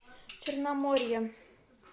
черноморье